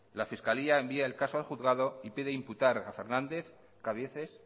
la fiscalía envía el caso al juzgado y pide imputar a fernández cabieces